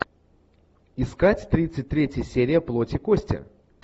искать тридцать третья серия плоть и кости